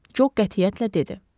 Job qətiyyətlə dedi.